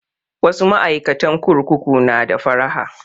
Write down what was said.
Wasu ma'aikatan kurkuku na da faraha